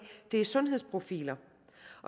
er sundhedsprofiler